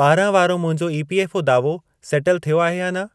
ॿारहं वारो मुंहिंजो ईपीएफ़ओ दावो सेटल थियो आहे या न?